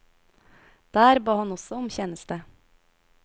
Der ba han også om tjeneste.